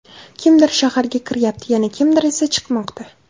Kimdir shaharga kiryapti, yana kimdir esa chiqmoqda.